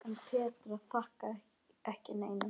En Petra þakkar ekki neinum.